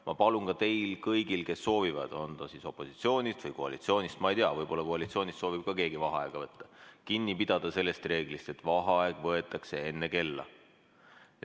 Ma palun ka teil kõigil, kes soovivad, olete te siis opositsioonist või koalitsioonist , kinni pidada sellest reeglist, et vaheaeg võetakse enne kella.